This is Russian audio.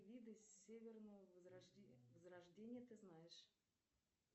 виды северного возрождения ты знаешь